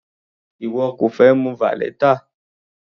Ìwọ kò fẹ mu valeta?